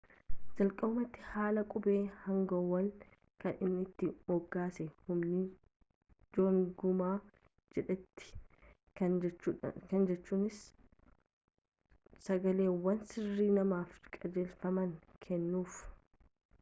jalqabumati haala qubee hanguwel kan inni itti moggaase hunmin jeongeum jedheti kana jechuunis sagaleewwan sirrii namaaf qajeelfamaa kennuuf